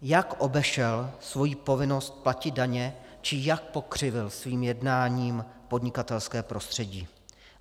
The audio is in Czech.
Jak obešel svoji povinnost platit daně či jak pokřivil svým jednáním podnikatelské prostředí?